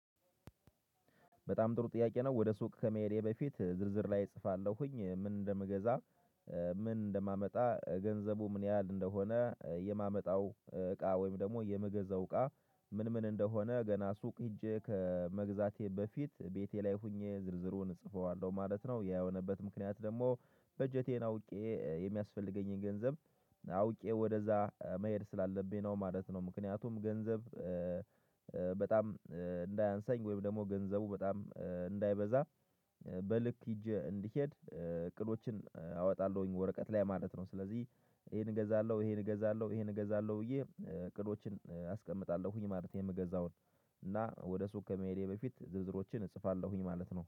በጣም ጥሩ ጥያቄ ነው ወደ ሱቅ ከመሄዴ በፊት ዝርዝር ላይ እጽፋለሁኝ ምን እንደምገዛ ምን እንደማመጣ ገንዘቡ ምን ያህል እንደሆነ የማመጣው እቃ ወይም ደግሞ የምገዛው እቃ ምን ምን እንደሆነ ገና ሱቅ ሄጄ ከመግዛቴ በፊት ቤቴ ላይ ሆኜ ዝርዝሩን እጽፈዋለሁ ማለት ነው። ያየሆነበት ምክንያት ደግሞ በጀቴን አውቄ የሚያስፈልገኝን ገንዘብ አውቄ ወደዛ መሄድ ስላለብኝ ነው ማለት ነው። ምክንያቱም ገንዘብ በጣም እንዳያንሳኝ ወይም ደግሞ ገንዘቡ በጣም እንዳይበዛ በልክ ይዤ እንድሄድ እቅዶችን አወጣለሁኝ ወረቀት ላይ ማለት ነው። ስለዚህ ይሄን እገዛለሁ ይሄን እገዛለሁ ይሄን እገዛለሁ ብዬ እቅዶችን አስቀምጣለሁኝ ማለት የምገዛውን እና ወደ ሱቅ ከመሄዴ በፊት ዝርዝሮችን እጽፋለሁኝ ማለት ነው